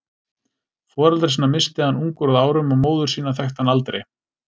Foreldra sína missti hann ungur að árum og móður sína þekkti hann aldrei.